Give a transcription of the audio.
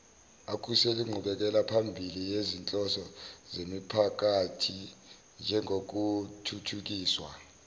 akhuseleinqubekelaphambili yezinhloso zemiphakathinjengokuthuthukiswa